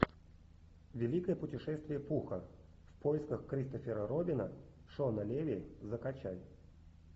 великое путешествие пуха в поисках кристофера робина шона леви закачай